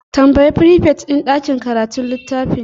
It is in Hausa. Tambayi frifet din ɗakin karatu littafin.